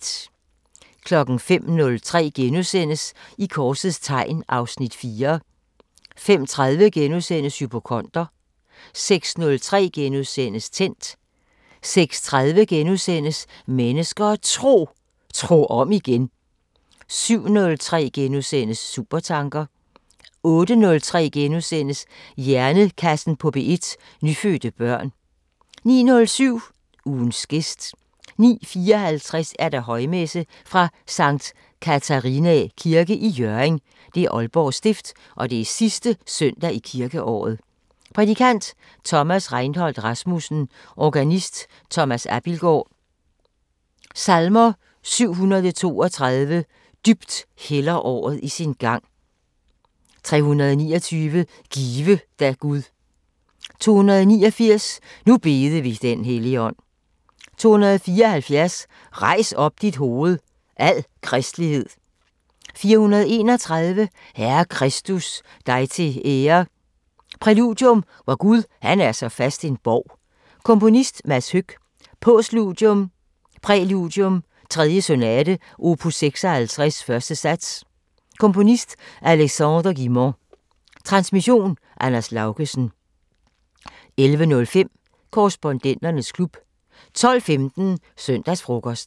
05:03: I korsets tegn (Afs. 4)* 05:30: Hypokonder * 06:03: Tændt * 06:30: Mennesker og Tro: Tro om igen * 07:03: Supertanker * 08:03: Hjernekassen på P1: Nyfødte børn * 09:07: Ugens gæst 09:54: Højmesse - Sct. Catharinæ kirke, Hjørring. Aalborg Stift. Sidste søndag i kirkeåret. Prædikant: Thomas Reinhold Rasmussen. Organist: Thomas Abildgaard. Salmer: 732: "Dybt hælder året i sin gang" 329: "Give da Gud" 289: "Nu bede vi den helligånd" 274: "Rejs op dit hoved, al kristenhed" 431: "Herre Kristus, dig til ære" Præludium: Vor Gud han er så fast en borg. Komponist: Mads Høck. Postludium: Præludium 3. Sonate opus 56 1. sats. Komponist: Alexandre Guilmant. Transmission: Anders Laugesen. 11:05: Korrespondenternes klub 12:15: Søndagsfrokosten